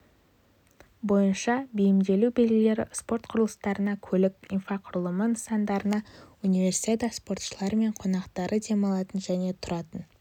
бойынша бейімделу белгілері спорт құрылыстарына көлік инфрақұрылымы нысандарына универсиада спортшылары мен қонақтары демалатын және тұратын